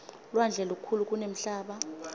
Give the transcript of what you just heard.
lwandle lukhulu kunemhlaba